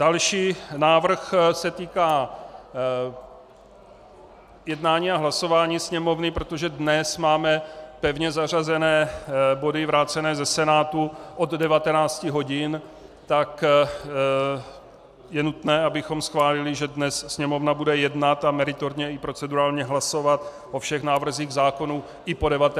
Další návrh se týká jednání a hlasování Sněmovny, protože dnes máme pevně zařazené body vrácené ze Senátu od 19 hodin, tak je nutné, abychom schválili, že dnes Sněmovna bude jednat a meritorně i procedurálně hlasovat o všech návrzích zákonů i po 19. i po 21. hodině.